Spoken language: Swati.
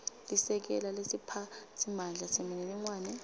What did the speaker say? lisekela lesiphatsimandla semininingwane